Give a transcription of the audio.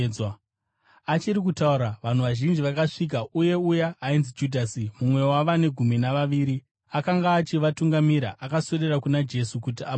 Achiri kutaura, vanhu vazhinji vakasvika, uye uya ainzi Judhasi, mumwe wavane Gumi naVaviri, akanga achivatungamirira. Akaswedera kuna Jesu kuti amutsvode,